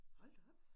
Hold da op